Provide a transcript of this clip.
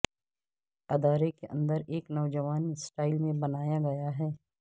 ادارے کے اندر ایک نوجوان سٹائل میں بنایا گیا ہے